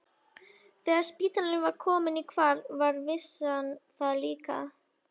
Þegar spítalinn var kominn í hvarf var vissan það líka.